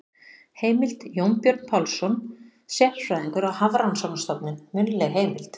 Heimild: Jónbjörn Pálsson, sérfræðingur á Hafrannsóknarstofnun- munnleg heimild.